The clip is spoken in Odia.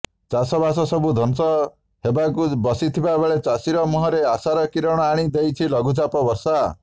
ଚାଷ ବାସ ସବୁ ଧ୍ବଂସ ହେବାକୁ ବସିଥିବାବେଳେ ଚାଷୀର ମୁହଁରେ ଆଶାର କିରଣ ଆଣି ଦେଇଛି ଲଘୁଚାପ ବର୍ଷା